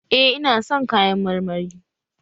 Eh ina son kayan marmari